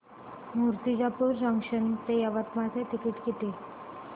Murtijapur junction ते यवतमाळ चे ticket किती